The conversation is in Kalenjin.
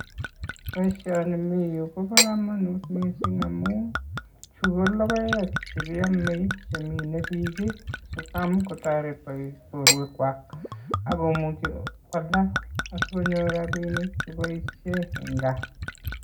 Poishoni miyu kopo komonut mising amun chu ko logoek chekiamei chemin biik Siloam kotoret borwek kwach akomuchi kotes asikonyor ropinik sikoboishe en gaa.